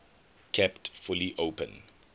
kept fully open